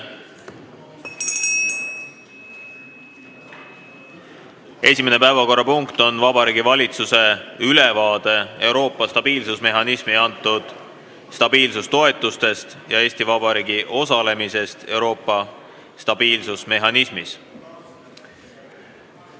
Esimene päevakorrapunkt on Vabariigi Valitsuse ülevaade Euroopa stabiilsusmehhanismi antud stabiilsustoetustest ja Eesti Vabariigi osalemisest Euroopa stabiilsusmehhanismis.